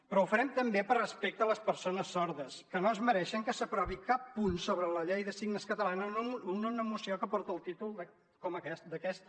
però ho farem també per respecte a les persones sordes que no es mereixen que s’aprovi cap punt sobre la llei de signes catalana en una moció que porta el títol d’aquesta